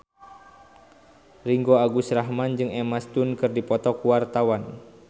Ringgo Agus Rahman jeung Emma Stone keur dipoto ku wartawan